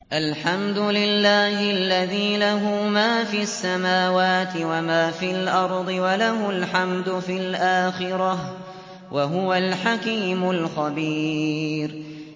الْحَمْدُ لِلَّهِ الَّذِي لَهُ مَا فِي السَّمَاوَاتِ وَمَا فِي الْأَرْضِ وَلَهُ الْحَمْدُ فِي الْآخِرَةِ ۚ وَهُوَ الْحَكِيمُ الْخَبِيرُ